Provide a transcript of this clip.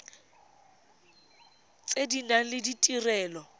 tse di nang le ditirelo